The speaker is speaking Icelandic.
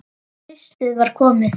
Haustið var komið.